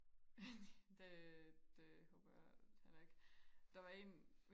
det det håber jeg heller ikke der var en